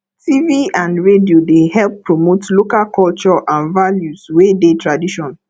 tv and radio dey help promote local culture and values wey dey tradition